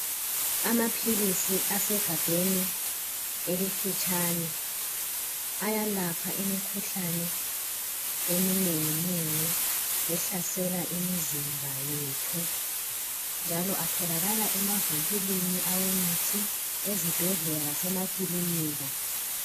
Amaphilisi asegabheni elifitshane ayalapha imikhuhlane eminenginengi ehalsela imizimba yethu njalo atholakala emavinkilini awemithi ezibhedlela lasemakilinika.